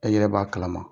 E yɛrɛ b'a kalama